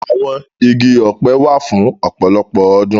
Awọn igi ọpẹ wa fun ọpọlọpọ ọdun.